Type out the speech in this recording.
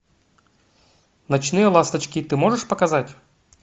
ночные ласточки ты можешь показать